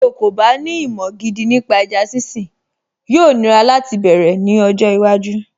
Tí o kò bá ní ìmọ̀ gidi nípa ẹja sínsìn, yóò nira láti bẹ̀rẹ̀ ní ọjọ́ iwájú